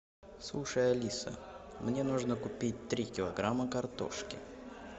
слушай алиса мне нужно купить три килограмма картошки